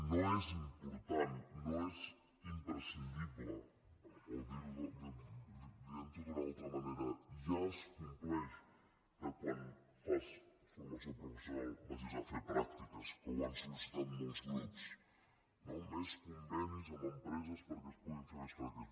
no és important no és imprescindible o dient ho d’una altra manera ja es compleix que quan fas formació professional vagis a fer pràctiques que ho han solamb empreses perquè es puguin fer més pràctiques